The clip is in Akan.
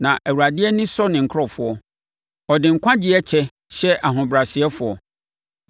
Na Awurade ani sɔ ne nkurɔfoɔ; ɔde nkwagyeɛ kyɛ hyɛ ahobrɛasefoɔ.